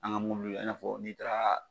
An ga e n'a fɔ n'i taara